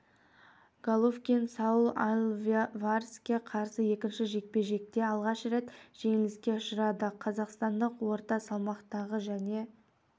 головкин сауль альвареске қарсы екінші жекпе жекте алғаш рет жеңіліске ұшырады қазақстандық орта салмақтағы және